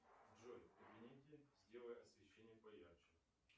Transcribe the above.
джой в кабинете сделай освещение поярче